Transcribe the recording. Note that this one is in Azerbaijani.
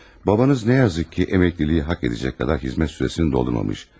Babanız nə yazık ki, əməkliyi haqq edəcək qədər xidmət sürəsini doldurmamış.